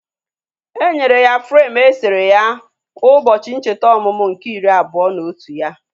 Enyere ya freim eserese ya ụbọchị ncheta ọmụmụ nke iri abụọ na otu ya